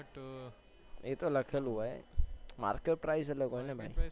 એ તો લખેલું હો market price એટલે કઈ નહિ.